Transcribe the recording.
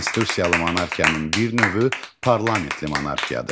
Konstitusiyalı monarxiyanın bir növü parlamentli monarxiyadır.